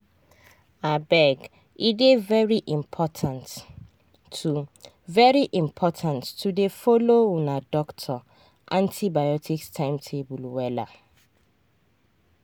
abege dey very important to very important to dey follow una doctor antibiotics timetable wella.